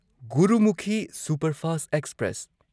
Gurmukhi superfast express